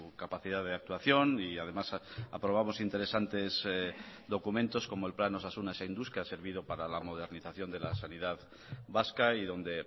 capacidad de actuación y además aprobamos interesantes documentos como el plan osasuna zainduz que ha servido para la modernización de la sanidad vasca y donde